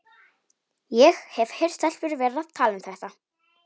Ég hef heyrt stelpur vera að tala um þetta.